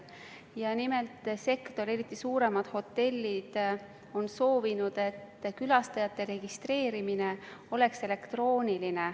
Ja nimelt: sektor, eriti suuremad hotellid on soovinud, et külastajate registreerimine oleks elektrooniline.